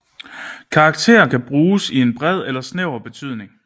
Karakter kan bruges i en bred eller snæver betydning